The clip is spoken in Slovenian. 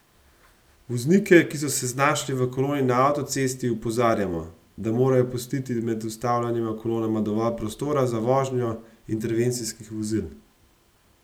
Voznike, ki so se znašli v koloni na avtocesti opozarjamo, da morajo pustiti med ustavljenima kolonama dovolj prostora za vožnjo intervencijskih vozil.